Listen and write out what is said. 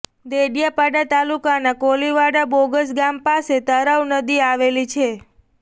દેડિયાપાડા તાલુકાના કોલીવાડા બોગજ ગામ પાસે તરાવ નદી આવેલી છે